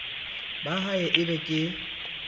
ba ha e be ke